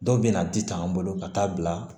Dɔw bɛ na di tan an bolo ka taa bila